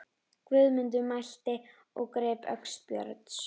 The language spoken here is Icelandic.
Guðmundur mælti og greip öxi Björns.